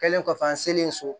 Kɛlen kɔfɛ an selen so